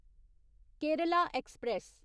Kerala express